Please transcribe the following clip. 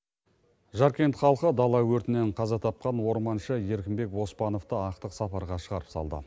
жаркент халқы дала өртінен қаза тапқан орманшы еркінбек оспановты ақтық сапарға шығарып салды